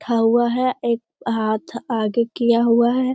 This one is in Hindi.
हवा है एक हाथ आगे किया हुआ है।